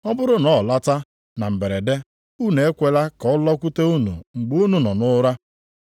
Ọ bụrụ na ọ lọta na mberede, unu ekwela ka ọ lọkwute unu mgbe unu nọ nʼụra.